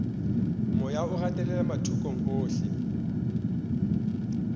moya o gatelela mathokong ohle